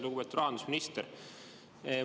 Lugupeetud rahandusminister!